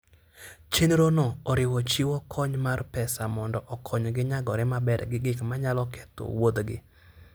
Chenrono oriwo chiwo kony mar pesa mondo okonygi nyagore maber gi gik manyalo ketho wuodhgi.